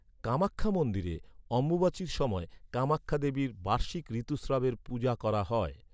কামাক্ষ্যা মন্দিরে, অম্বুবাচীর সময় কামাক্ষ্যা দেবীর বার্ষিক ঋতুস্রাবের পূজা করা হয়।